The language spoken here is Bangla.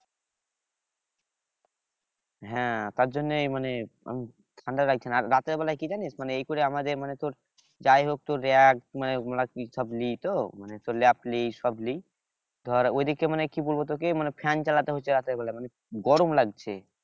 হ্যাঁ তার জন্যই মানে ঠান্ডা লাগছে না রাতের বেলায় কি জানিস মানে এই করে আমাদের মানে তোর যাই হোক তোর মানে আমরা কি সব লিই তো মানে ল্যাপ লিই সব লিই ধর ঐদিকে মানে কি বলবো তোকে মানে ফ্যান চালাতে হচ্ছে রাতের বেলা মানে গরম লাগছে